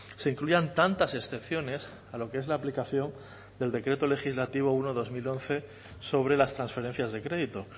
se incluyan tantas excepciones a lo que es la aplicación del decreto legislativo uno barra dos mil once sobre las transferencias de crédito